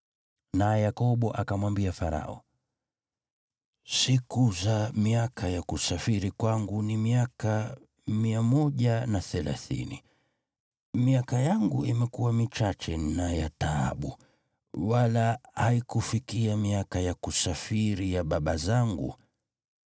Naye Yakobo akamwambia Farao, “Siku za miaka ya kusafiri kwangu ni miaka 130. Miaka yangu imekuwa michache na ya taabu, wala haikufikia miaka ya kusafiri ya baba zangu.”